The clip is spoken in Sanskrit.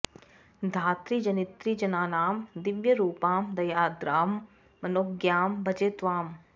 धात्री जनित्री जनानां दिव्यरूपां दयार्द्रां मनोज्ञां भजे त्वाम्